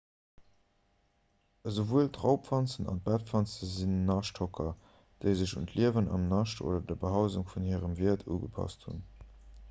esouwuel d'raubwanzen an d'bettwanze sinn naschthocker déi sech un d'liewen am nascht oder der behausung vun hirem wiert ugepasst hunn